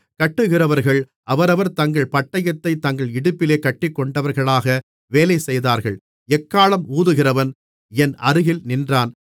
கட்டுகிறவர்கள் அவரவர் தங்கள் பட்டயத்தைத் தங்கள் இடுப்பிலே கட்டிக்கொண்டவர்களாக வேலைசெய்தார்கள் எக்காளம் ஊதுகிறவன் என் அருகில் நின்றான்